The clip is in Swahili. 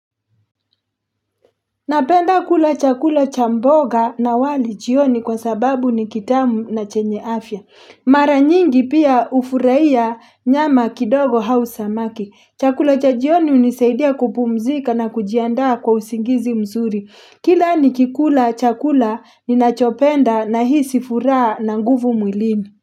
Napenda kula chakula cha mboga na wali jioni kwa sababu ni kitamu na chenye afya. Mara nyingi pia ufurahia nyama kidogo au samaki. Chakula cha jioni hunisaidia kupumzika na kujiandaa kwa usingizi mzuri. Kila ni kikula chakula ni nachopenda na hisi furaha na nguvu mwilini.